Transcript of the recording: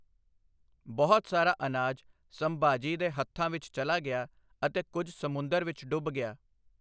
ਬਹੁਤ ਸਾਰਾ ਅਨਾਜ ਸੰਭਾਜੀ ਦੇ ਹੱਥਾਂ ਵਿੱਚ ਚਲਾ ਗਿਆ ਅਤੇ ਕੁਝ ਸਮੁੰਦਰ ਵਿੱਚ ਡੁੱਬ ਗਿਆ।